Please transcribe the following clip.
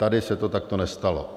Tady se to takto nestalo.